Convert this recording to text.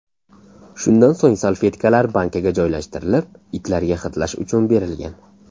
Shundan so‘ng salfetkalar bankaga joylashtirilib, itlarga hidlash uchun berilgan.